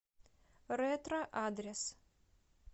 ретро адрес